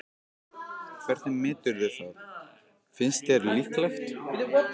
Hvernig meturðu það, finnst þér líklegt?